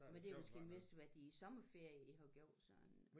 Men det er måske mest været i æ sommerferie I har gjort sådan